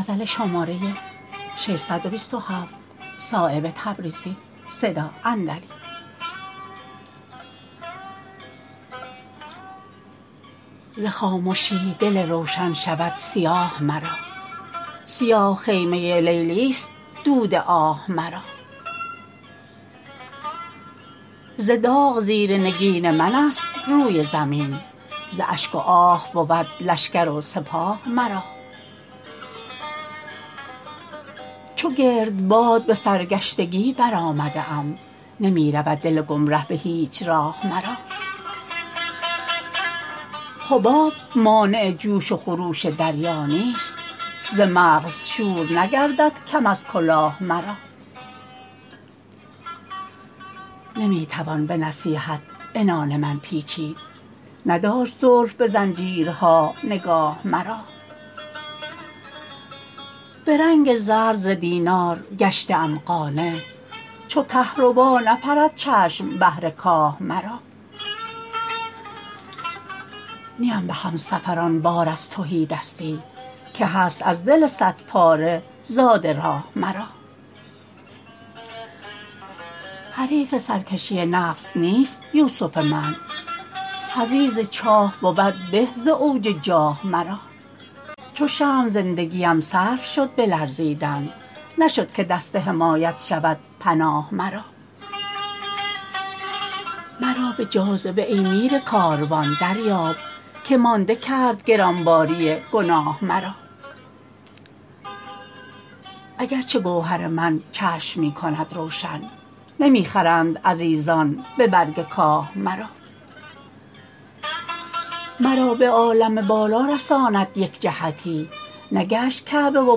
ز خامشی دل روشن شود سیاه مرا سیاه خیمه لیلی است دود آه مرا ز داغ زیر نگین من است روی زمین ز اشک و آه بود لشکر و سپاه مرا چو گردباد به سرگشتگی برآمده ام نمی رود دل گمره به هیچ راه مرا حباب مانع جوش و خروش دریا نیست ز مغز شور نگردد کم از کلاه مرا نمی توان به نصیحت عنان من پیچید نداشت زلف به زنجیرها نگاه مرا به رنگ زرد ز دینار گشته ام قانع چو کهربا نپرد چشم بهر کاه مرا نیم به همسفران بار از تهیدستی که هست از دل صد پاره زاد راه مرا حریف سرکشی نفس نیست یوسف من حضیض چاه بود به ز اوج جاه مرا چو شمع زندگیم صرف شد به لرزیدن نشد که دست حمایت شود پناه مرا مرا به جاذبه ای میر کاروان دریاب که مانده کرد گرانباری گناه مرا اگر چه گوهر من چشم می کند روشن نمی خرند عزیزان به برگ کاه مرا مرا به عالم بالا رساند یک جهتی نگشت کعبه و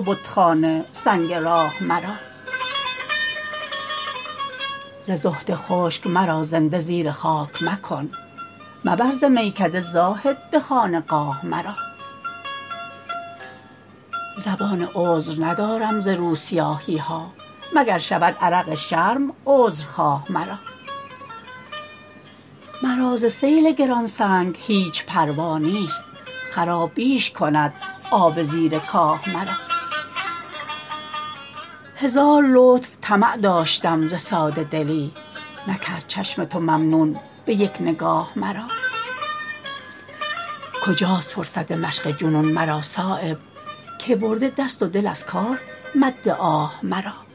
بتخانه سنگ راه مرا ز زهد خشک مرا زنده زیر خاک مکن مبر ز میکده زاهد به خانقاه مرا زبان عذر ندارم ز روسیاهی ها مگر شود عرق شرم عذرخواه مرا مرا ز سیل گرانسنگ هیچ پروا نیست خراب بیش کند آب زیر کاه مرا هزار لطف طمع داشتم ز ساده دلی نکرد چشم تو ممنون به یک نگاه مرا کجاست فرصت مشق جنون مرا صایب که برده دست و دل از کار مد آه مرا